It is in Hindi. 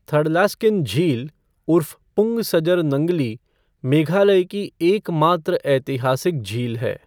थडलास्केन झील उर्फ़ पुंग सजर नंगली, मेघालय की एकमात्र ऐतिहासिक झील है।